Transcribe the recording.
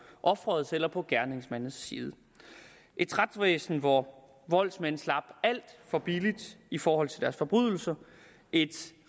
offerets eller på gerningsmandens side et retsvæsen hvor voldsmænd slap alt for billigt i forhold til deres forbrydelser et